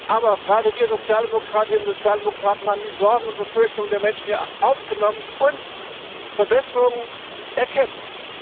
Aber gerade wir Sozialdemokratinnen und Sozialdemokraten haben die Sorgen und Befürchtungen der Menschen hier aufgenommen und Verbesserungen erkämpft.